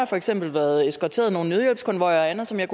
for eksempel været eskorteret nogle nødhjælpskonvojer og andet som jeg